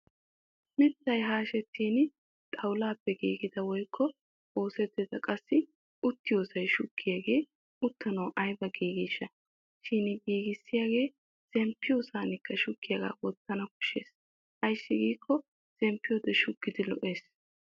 Miittay haashettin xawulaappe giigida woykko oosettida qassi uttiyoosay shuggiyaagee uttanawu ayba giigeeshsha. Shin giigissiyaagee zemppiyosankka shuggiyaagaa wottana koshshes ayssi giikko zemppiyoode shuggidi lo'ees.